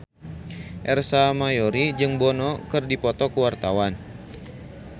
Ersa Mayori jeung Bono keur dipoto ku wartawan